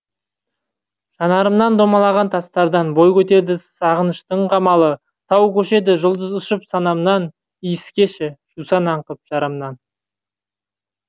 жанарымнан домалаған тастардан бой көтерді сағыныштың қамалы тау көшеді жұлдыз ұшып санамнан иіскеші жусан аңқып жарамнан